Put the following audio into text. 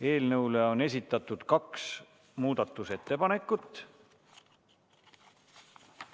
Eelnõu kohta on esitatud kaks muudatusettepanekut.